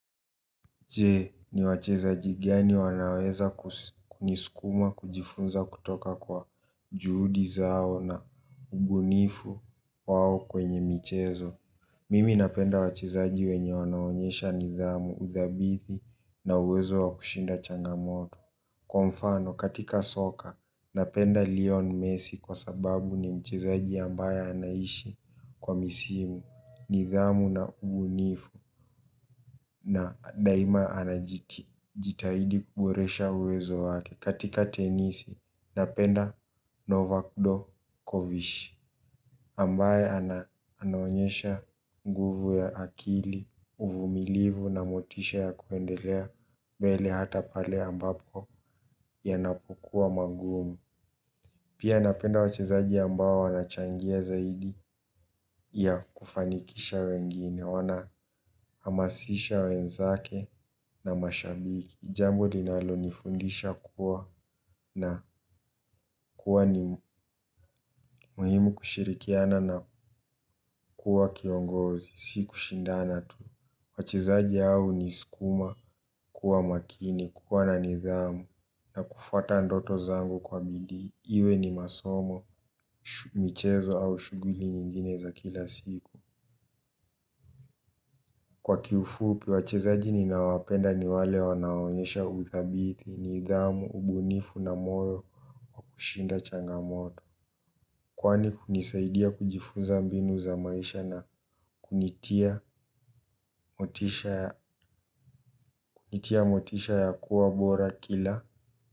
Je ni wachezaji gani wanaweza kus kunisukuma kujifunza kutoka kwa juhudi zao na ubunifu wao kwenye michezo. Mimi napenda wachezaji wenye wanaonyesha nidhamu, udhabiti na uwezo wa kushinda changamoto. Kwa mfano, katika soka, napenda leon messi kwa sababu ni mchezaji ambaye anaishi kwa misimu, nidhamu na ubunifu na daima anajiti. Jitahidi kuboresha uwezo wake katika tenisi napenda Novac dokovish ambaye ana anaonyesha nguvu ya akili uvumilivu na motisha ya kuendelea mbele hata pale ambapo yanapokuwa mangumu. Pia napenda wachezaji ambao wanachangia zaidi ya kufanikisha wengine wanahamasisha wenzake. Na mashabiki jambo linalonifundisha kuwa na kuwa ni muhimu kushirikiana na kuwa kiongozi, si kushindana tu. Wachezaji hao huniskuma, kuwa makini, kuwa na nidhamu na kufuata ndoto zangu kwa bidii. Iwe ni masomo, michezo au shughuli nyingine za kila siku. Kwa kiufupi, wachezaji ninaowapenda ni wale wanaonyesha udhabiti, nidhamu, ubunifu na moyo wa kushinda changamoto. Kwani hunisaidia kujifunza mbinu za maisha na kunitia kunitia motisha ya kuwa bora kila.